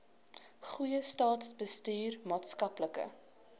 goeie staatsbestuur maatskaplike